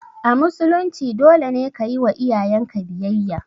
A musulunci dole ne kayiwa iyayenka biyayya